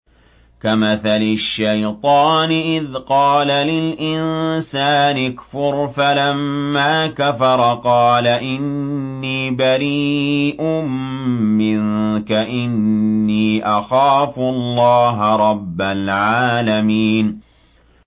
كَمَثَلِ الشَّيْطَانِ إِذْ قَالَ لِلْإِنسَانِ اكْفُرْ فَلَمَّا كَفَرَ قَالَ إِنِّي بَرِيءٌ مِّنكَ إِنِّي أَخَافُ اللَّهَ رَبَّ الْعَالَمِينَ